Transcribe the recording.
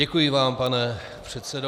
Děkuji vám, pane předsedo.